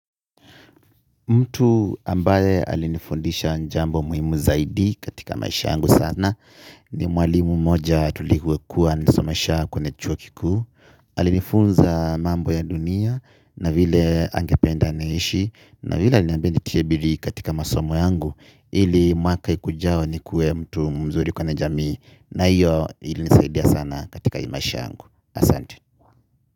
Mtu ambaye alinifundisha jambo muhimu zaidi katika maisha yangu sana ni mwalimu mmoja tulivyokuwa anisomesha kwenye chuo kikuu. Alinifunza mambo ya dunia na vile angependa niishi. Na vile aliniambia nitie bidii katika masomo yangu. Ili mwaka ikujao nikuwe mtu mzuri kwenye jami. Na iyo ilinisaidia sana katika hii maisha yangu asante.